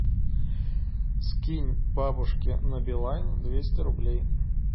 скинь бабушке на билайн двести рублей